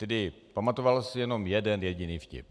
Tedy pamatoval si jenom jeden jediný vtip.